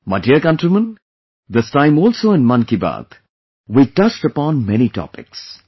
My dear countrymen, this time also in 'Mann Ki Baat' we touched upon many topics